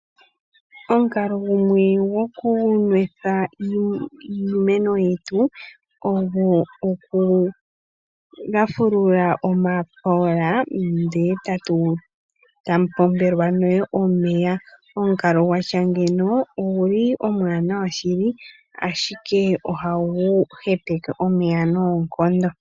Omukalo gumwe gokunwetha iimeno yetu ogo oku lafulula omapola ndele tamu pombelwa nee omeya, omukalo gwatya ngiika oguli omuwanawa shili ashike ohagu hepeke omeya noonkondo